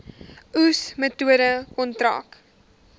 oes metode kontrak